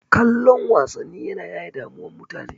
Kallon wasanni yana yaye damuwan mutane.